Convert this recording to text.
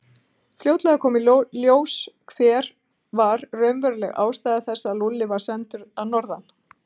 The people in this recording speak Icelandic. Fljótlega kom í ljós hver var raunveruleg ástæða þess að Lúlli var sendur að norðan.